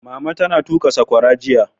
Mama ta tuƙa saƙwara jiya.